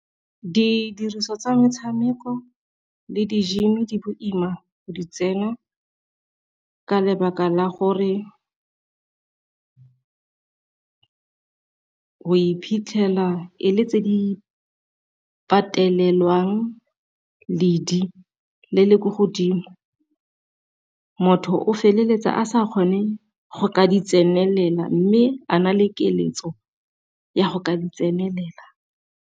Didiriswa tsa metshameko le di-gym di boima go di tsena ka lebaka la gore o iphitlhela e le tse di patelelwang ledi le le ko godimo, motho o feleletsa a sa kgone go ka di tsenelela mme a na le keletso ya go ka tsenelela.